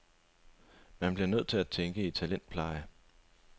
Man bliver nødt til at tænke i talentpleje.